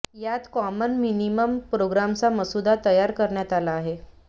यात common minimum प्रोग्रामचा मसूदा तयार करण्यात आला आहे